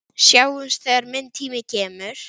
Sjáumst þegar minn tími kemur.